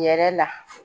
Yɛrɛ la